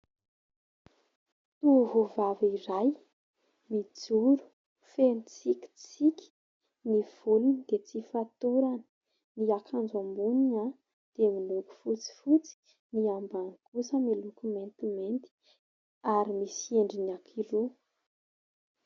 Tovovavy iray mijoro feno tsikitsiky. Ny volony dia tsy fatorany. Ny akanjo amboniny dia miloko fotsifotsy, ny ambany kosa miloko maintimainty ary misy endriny anankiroa.